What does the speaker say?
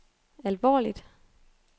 alvorligt